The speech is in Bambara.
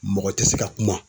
Mɔgɔ tɛ se ka kuma.